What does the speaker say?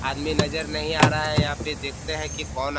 आदमी नजर नहीं आ रहा है यहाँ पे देखते हैं की कौन --